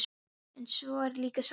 En svo er líka soldið annað.